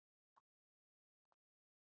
Kennsla hófst strax í dag.